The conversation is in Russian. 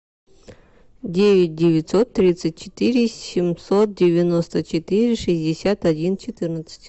девять девятьсот тридцать четыре семьсот девяносто четыре шестьдесят один четырнадцать